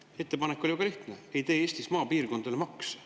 Aga ettepanek oli väga lihtne: ei tee Eestis maapiirkondadele makse.